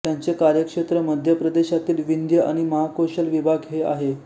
त्याचे कार्यक्षेत्र मध्य प्रदेशातील विंध्य आणि महाकोशल विभाग हे आहे